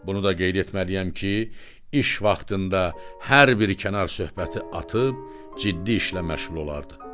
Bunu da qeyd etməliyəm ki, iş vaxtında hər bir kənar söhbəti atıb ciddi işlə məşğul olardı.